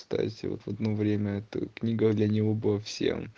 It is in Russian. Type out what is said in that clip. кстати в одно время это книга для него была всем